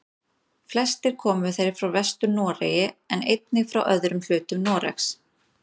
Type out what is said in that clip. Flestir komu þeir frá Vestur-Noregi en einnig frá öðrum hlutum Noregs.